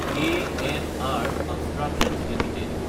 KNR constructions Ltd